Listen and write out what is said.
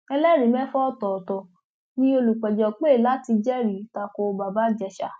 ẹlẹrìí mẹfà ọtọọtọ ni olùpẹjọ pé láti jẹrìí ta ko bàbá ìjèṣà